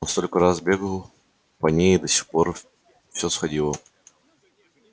он столько раз бегал по ней и до сих пор все сходило